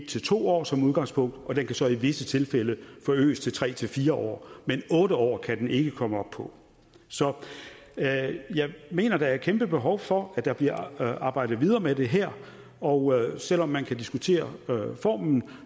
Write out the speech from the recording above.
to år som udgangspunkt og det kan så i visse tilfælde forøges til tre fire år men otte år kan det ikke komme op på så jeg mener der er et kæmpe behov for at der bliver arbejdet videre med det her og selv om man kan diskutere formen